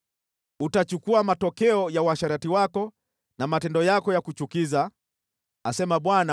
Utachukua matokeo ya uasherati wako na matendo yako ya kuchukiza, asema Bwana .